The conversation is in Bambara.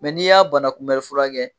n'i y'a banakunbɛn furakɛ